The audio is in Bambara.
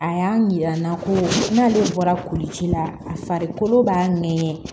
A y'a yira n na ko n'ale bɔra kulici la a farikolo b'a ŋɛɲɛ